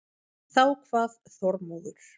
Þá kvað Þormóður